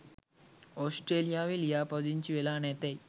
ඔස්ට්‍රලියාවෙ ලියාපදිංචි වෙලා නැතෙයි?